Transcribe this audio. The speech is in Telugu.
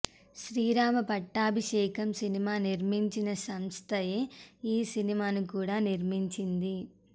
శ్రీరామ పట్టాభిషేకం సినిమా నిర్మించిన సంస్థయే ఈ సినిమాను కూడా నిర్మించింది